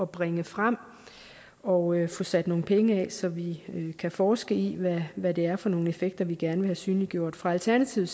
bringe frem og få sat nogle penge af så vi kan forske i hvad det er for nogle effekter vi gerne vil have synliggjort for alternativet